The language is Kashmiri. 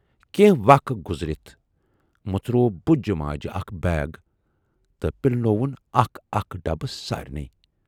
کینہہ وق گُذرِتھ مُژروو بُجہِ ماجہِ اکھ بیگ تہٕ پِلنووُن اکھ اکھ ڈبہٕ سارِنٕے۔